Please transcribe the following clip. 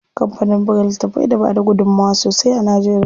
Kampanin buga littafai da bada gudunmuwa sosai a Najeriya.